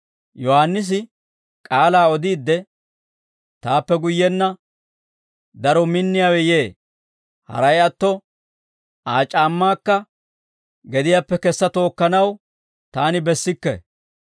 Yohaannisi k'aalaa odiidde, «Taappe guyyenna daro minniyaawe yee; haray atto, Aa c'aammaakka gediyaappe kessa tookkanaw taani bessikke.